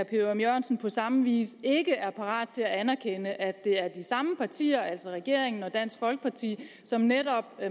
ørum jørgensen på samme vis ikke er parat til at anerkende at det er de samme partier altså regeringen og dansk folkeparti som netop